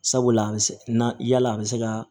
Sabula a bɛ se na yala a bɛ se ka